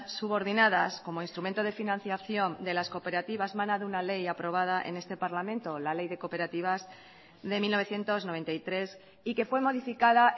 subordinadas como instrumento de financiación de las cooperativas mana de una ley aprobada en este parlamento la ley de cooperativas de mil novecientos noventa y tres y que fue modificada